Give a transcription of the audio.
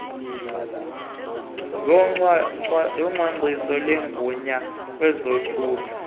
yocwangcwiso lwegunya kwezothutho